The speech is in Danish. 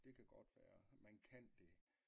Det kan godt være man kan det